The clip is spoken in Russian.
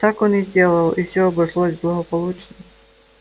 так он и сделал и все обошлось благополучно